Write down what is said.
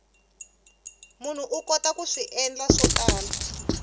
munhu u kota ku endla swo tala